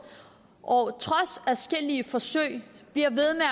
og trods adskillige forsøg bliver ved med